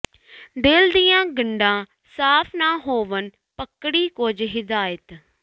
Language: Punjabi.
ਦਿਲ ਦੀਆ ਗੰਢਾਂ ਸਾਫ਼ ਨਾ ਹੋਵਣ ਪਕੜੀਂ ਕੁੱਝ ਹਿਦਾਇਤ